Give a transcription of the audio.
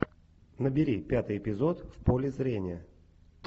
набери пятый эпизод в поле зрения